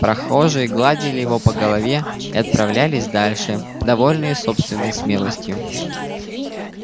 прохожие гладили его по голове и отправлялись дальше довольные собственной смелостью